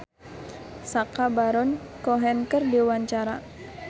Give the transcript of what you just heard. Yuki Kato olohok ningali Sacha Baron Cohen keur diwawancara